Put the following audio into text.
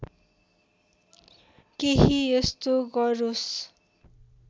केही यस्तो गरोस्